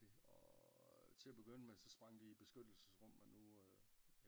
Det og til at begynde med sprang de i beskyttelsesrum men nu